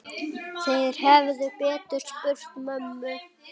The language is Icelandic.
Þeir hefðu betur spurt mömmu.